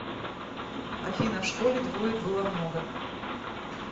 афина в школе двоек было много